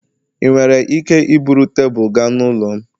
ị nwere ike iburu tebụl gaa n'ụlọ m?